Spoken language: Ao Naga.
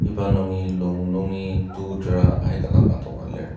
iba nungi lung nungi to tera aika dang adoka lir.